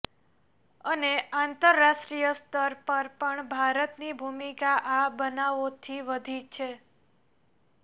અને આંતરરાષ્ટ્રીય સ્તર પર પણ ભારતની ભૂમિકા આ બનાવોથી વધી છે